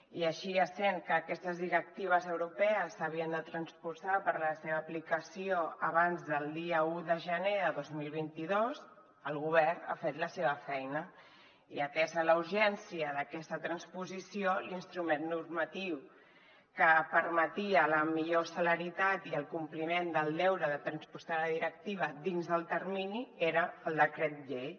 i així essent que aquestes directives europees havien de transposar per a la seva aplicació abans del dia un de gener de dos mil vint dos el govern ha fet la seva feina i atesa la urgència d’aquesta transposició l’instrument normatiu que permetia la millor celeritat i el compliment del deure de transposar la directiva dins del termini era el decret llei